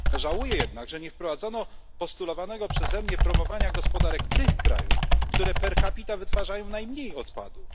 Żałuję jednak, że nie wprowadzono postulowanego przeze mnie promowania gospodarek krajów, które per capita wytwarzają najmniej odpadów.